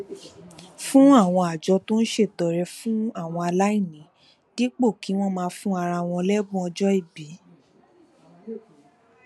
fún àwọn àjọ tó ń ṣètọrẹ fún àwọn aláìní dípò kí wón máa fún ara wọn lébùn ọjó ìbí